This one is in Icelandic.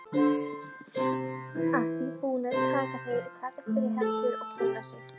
Að því búnu takast þeir í hendur og kynna sig.